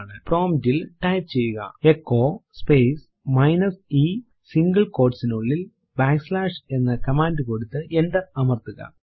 prompt ൽ type ചെയ്യുകT echo space minus e single quot നുള്ളിൽ ബാക്ക് സ്ലാഷ് എന്ന കമാൻഡ് കൊടുത്തു എന്റർ അമർത്തുക